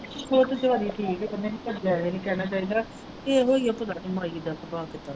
ਸੋਨੂੰ ਪਾ ਵੀ ਠੀਕ ਹੈ ਤੇ ਮੈਂ ਕਿਹਾ ਚੱਲ ਜਿਆਦਾ ਨਹੀਂ ਕਹਿਣਾ ਚਾਹੀਦਾ ਤੇ ਉਹੀ ਹੈ ਇੱਕ ਬਸ ਮਾਈ ਦਾ ਸੁਭਾਅ ਕਿਦਾਂ ਦਾ ਹੈ।